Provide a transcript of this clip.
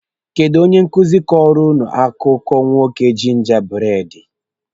Kedụ onye nkụzi kọrọ ụnụ akụkọ nwoke jinja buredi?